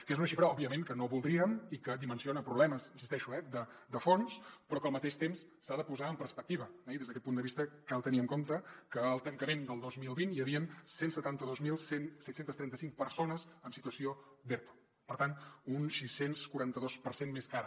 que és una xifra òbviament que no voldríem i que dimensiona problemes hi insisteixo eh de fons però que al mateix temps s’ha de posar en perspectiva eh i des d’aquest punt de vista cal tenir en compte que al tancament del dos mil vint hi havien cent i setanta dos mil set cents i trenta cinc persones en situació d’erto per tant un sis cents i quaranta dos per cent més que ara